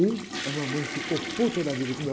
E a mamãe ficou puta da vida com o meu